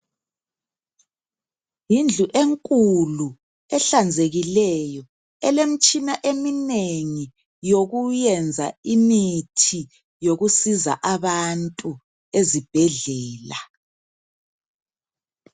Yindlu enkulu ehlanzekileyo elemtshina eminengi yokuyenza imithi yokusiza abantu ezibhedlela.